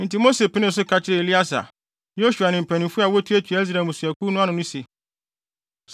Enti Mose penee so ka kyerɛɛ Eleasar, Yosua ne mpanyimfo a wotuatua Israel mmusuakuw ano no se,